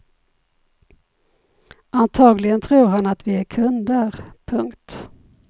Antagligen tror han att vi är kunder. punkt